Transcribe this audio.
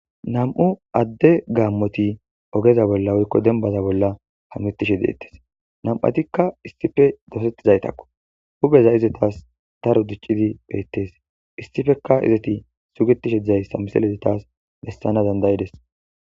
Nam'u adde gaamoti ogeza bolla woyko dembaza bolla hametishe deetees Nam'atika issippe dosetizaytako huuphezi izetas daro diccidi beetees. Issipeka izeti sugetishe de'izaysa misilezi taasi besana danda'ees.